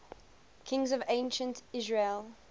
kings of ancient israel